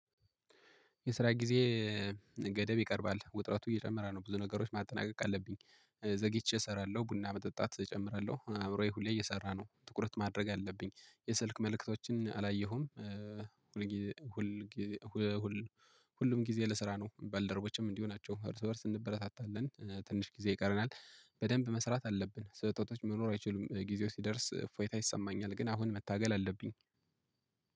የስራ ጊዜ ገደብ ይቀርባል ውጥረቱ እየጨመረ ነው። ብዙ ነገሮች ማጠናቀቅ አለብኝ። ዘግይቼ እሰራለሁ ቡና መጠጣት እጨምራለሁ። አምሮየ ሁሌ እየሰራ ነው ትኩረት ማድረግ አለብኝ። የስልክ መልእክቶችን አላየሁም። ሁሉም ጊዜ ለስራ ነው። በልደሮችም እንዲህ ናቸው እርስ እንበረታታለን። ትንሽ ጊዜ ይቀረናል በደንብ መስራት አለብን። ስለ ጦጦች መኖር አይችሉም። ጊዜው ሲደርስ ፎይታ ይሰማኛል። ግን አሁን መታገል አለብኝ